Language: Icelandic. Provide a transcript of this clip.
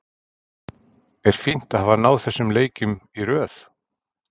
Er fínt að hafa náð þessum leikjum í röð?